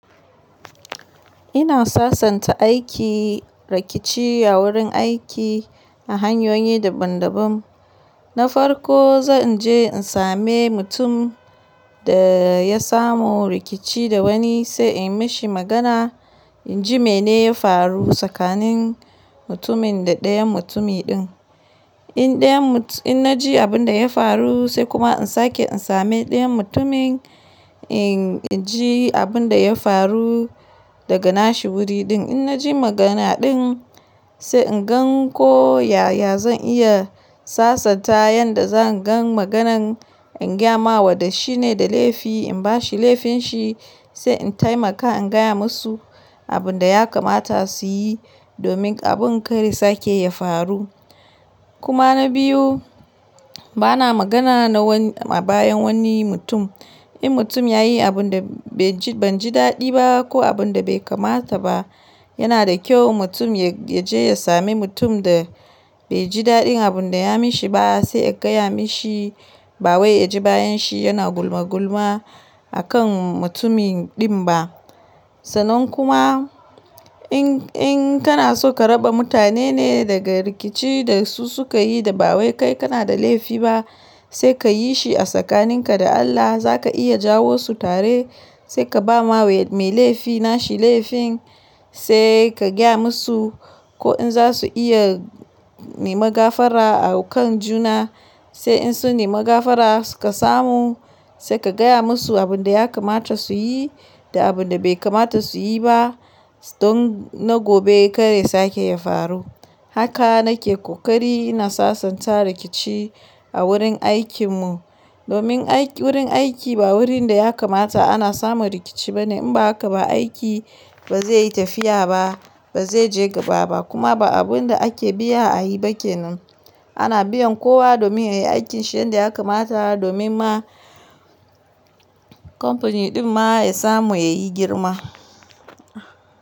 Ina sasanta aiki, rikici a wurin aiki ta hanyoyi daban-daban. Na farko, zan je in same mutum da ya samu rikici da wani sai in mashi magana, in ji mene ya faru tsakanin mutumin da ɗayan mutumi din. In na ji abin da ya faru sai kuma in sake in same ɗayan mutumin in ji abin da ya faru daga nashi wuri din. In na ji magana din sai in gan ko yaya zan iya sasanta, yanda zan gan maganan in gyamawa da shine da laifi in bashi laifinshi sai in taimaka in gaya musu abin da ya kamata su yi domin abin karya sake ya faru. Kuma na biyu, bana magana na a bayan wani mutum. In mutum yayi abun da banji daɗi ba ko abun da bai kamata ba, yana da kyau mutum yaje ya sami mutum da baiji daɗin abunda ya mishi ba sai a gaya mishi ba wai yaji bayan shi yana gulmagulma akan mutumin din ba. Sanan kuma in kana so ka raba mutane ne daga rikici da su suka yi da ba wai kai kana da laifi ba sai kayi shi a tsakanin ka da Allah. Zaka iya jawo su tare sai ka ba ma mai laifi nashi laifin sai ka gaya musu ko in za su iya neman gafara a kan juna. Sai in su nemi gafara suka samu sai ka gaya musu abin da ya kamata su yi da abin da bai kamata su yi ba don na gobe karya sake ya faru. Haka nake kokari ina sasanta rikici a wurin aikin mu. Domin wurin aiki ba wurin da ya kamata ana samu rikici bane. In ba haka ba aiki ba zai yi tafiya ba, ba zai je gaba ba kuma ba abun da ake biya a yi bake. Ana biyan kowa domin yayi aikin shi yanda ya kamata domin ma kamfani din ma ya samu yayi girma.